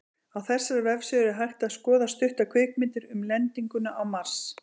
Á þessari vefsíðu er hægt að skoða stuttar kvikmyndir um lendinguna á Mars.